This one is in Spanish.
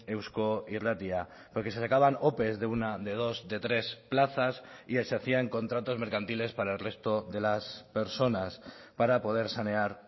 eusko irratia porque se sacaban ope de una de dos de tres plazas y se hacían contratos mercantiles para el resto de las personas para poder sanear